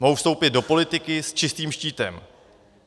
Mohou vstoupit do politiky s čistým štítem.